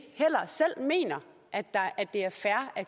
selv mener at det er fair at